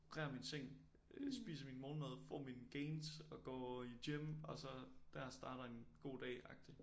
Reder min seng øh spiser min morgenmad får mine gains og går i gym og så dér starter en god dag agtig